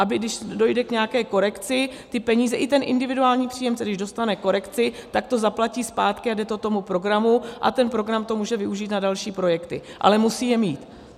Aby když dojde k nějaké korekci, ty peníze i ten individuální příjemce když dostane korekci, tak to zaplatí zpátky a jde to tomu programu a ten program to může využít na další projekty, ale musí je mít.